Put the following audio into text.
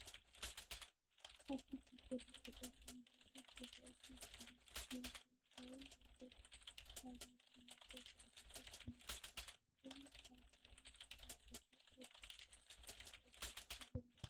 ኣብቲ ታፔላ ቀጠልያ ምልክታት ይርአ፣ ከም ቱሉ፣ ዲምቱ፣ ማይን፣ ቶል፣ ፕላዛ ዝኣመሰሉ ቦታታት ዘመልክቱ። እዚ ፕላዛ (ናይ ነዳዲ ቦታ) ኣብ ከመይ ዝበለ ቦታ እዩ ዓሪፉ ዘሎ?